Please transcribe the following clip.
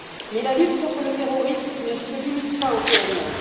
Mais la lutte contre le terrorisme ne se limite pas au PNR.